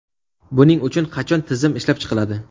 Buning uchun qachon tizim ishlab chiqiladi?